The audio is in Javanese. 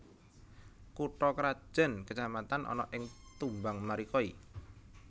Kutha krajan kecamatan ana ing Tumbang Marikoi